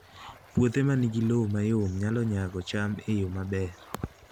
Puothe ma nigi lowo mayom nyalo nyago cham e yo maber